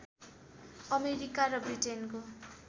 America र ब्रिटेनको